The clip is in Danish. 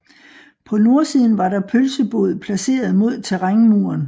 På nordsiden var der pølsebod placeret mod terrænmuren